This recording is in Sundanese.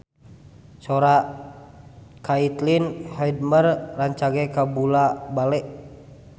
Sora Caitlin Halderman rancage kabula-bale